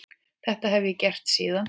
Þetta hef ég gert síðan.